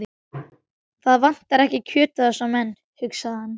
Það vantar ekki kjötið á þessa menn, hugsaði hann.